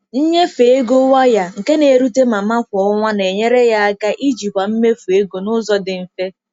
Nnyefe ego waya, nke n'erute mama kwa ọnwa na-enyere ya aka ijikwa mmefu ego n'ụzọ dị mfe.